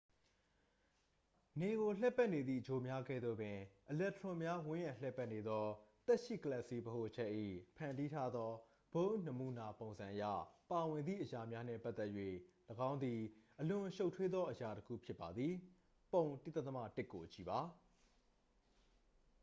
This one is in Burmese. နေကိုလှည့်ပတ်နေသည့်ဂြိုလ်များကဲ့သို့ပင် အီလက်ထရွန်များ ဝန်းရံလှည့်ပတ်နေသော သက်ရှိကလာပ်စည်းဗဟိုချက်၏ ဖန်တီးထားသော bohr နမူနာပုံစံအရ ပါဝင်သည့်အရာများနှင့်ပတ်သက်၍ ၎င်းသည် အလွန်ရှုပ်ထွေးသောအရာတစ်ခု ဖြစ်ပါသည် ပုံ 1.1 ကိုကြည့်ပါ